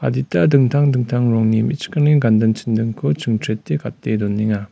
dita dingtang dingtang rongni me·chikrangni ganding-chindingko chingchrete gate donenga.